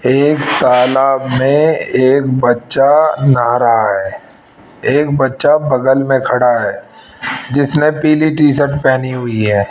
एक तालाब में एक बच्चा नहा रहा है एक बच्चा बगल में खड़ा है जिसने पीली टी शर्ट पहनी हुई है।